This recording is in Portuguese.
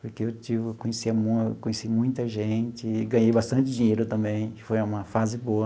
Porque eu tive eu conhecia eu conheci muita gente e ganhei bastante dinheiro também, que foi uma fase boa.